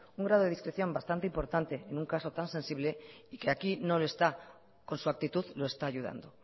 un grado de discreción bastante importante en un caso tan sensible y que aquí no lo está con su actitud lo está ayudando